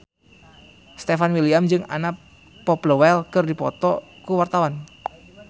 Stefan William jeung Anna Popplewell keur dipoto ku wartawan